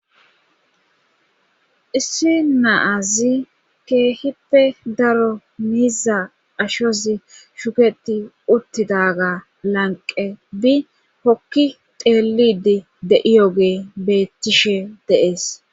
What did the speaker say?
issi naazi keehippe daro miiza ashozi shuketi uttidaga lanqe bi hokki teelidi de7iyoge beettishe deees